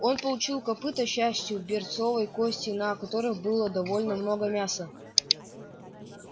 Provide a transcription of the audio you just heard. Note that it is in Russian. он получил копыто с частью берцовой кости на которой было довольно много мяса